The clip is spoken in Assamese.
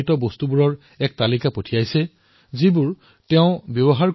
ইয়াত বৈদ্যতিক ষ্টেচনাৰী ছেল্ফ কেয়াৰ সামগ্ৰীৰ উপৰিও অন্যান্য বহু সামগ্ৰী অন্তৰ্ভুক্ত কৰা হৈছে